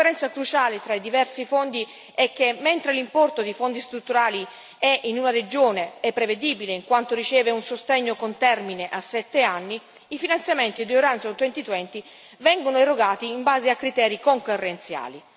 La differenza cruciale tra i diversi fondi è che, mentre l'importo dei Fondi strutturali è in una regione, è prevedibile, in quanto riceve un sostegno con termine a 7 anni, i finanziamenti di Orizzonte 2020 vengono erogati in base a criteri concorrenziali.